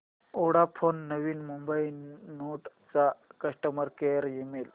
Vodafone Navi Mumbai node चा customer care email